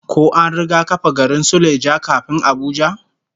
Ko an riga kafa garin Suleja kafin Abuja?